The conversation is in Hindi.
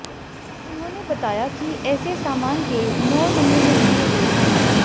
उन्होंने बताया कि ऐसे सामान के नौ नमूने लिए गए हैं